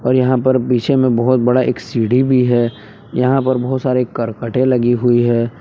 और यहां पर पीछे में बहुत बड़ा एक सीढ़ी भी है यहां पर बहुत सारे करकटे लगी हुई है।